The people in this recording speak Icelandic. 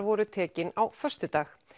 voru tekin á föstudag